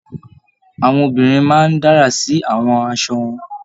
Àwọn obìnrin máa n dárá sí àwọn aṣọ wọn.